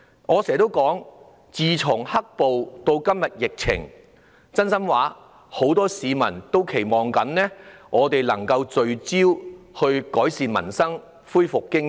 我經常說，自"黑暴"出現，到今天疫情發生，很多市民也期望立法會能夠聚焦於改善民生，恢復經濟。